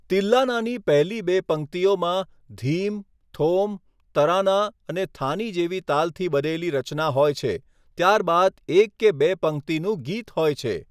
તિલ્લાનાની પહેલી બે પંક્તિઓમાં ધીમ, થોમ, તરાના અને થાની જેવી તાલથી બનેલી રચના હોય છે, ત્યારબાદ એક કે બે પંક્તિનું ગીત હોય છે.